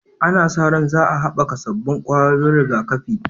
Ana sa ran za a haɓaka sabbin ƙwayoyin rigakafi